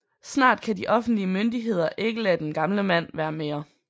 Snart kan de offentlige myndigheder ikke lade den gamle mand være mere